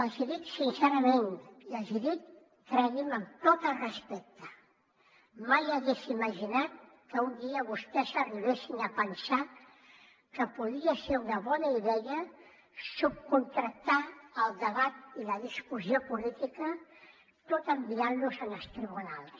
els hi dic sincerament i els hi dic creguinme amb tot el respecte mai hagués imaginat que un dia vostès arribessin a pensar que podia ser una bona idea subcontractar el debat i la discussió política tot enviantlos als tribunals